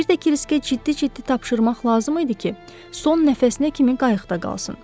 Bir də Kriskə ciddi-ciddi tapşırmaq lazım idi ki, son nəfəsinə kimi qayıqda qalsın.